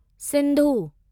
Sindhu